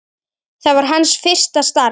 Það var hans fyrsta starf.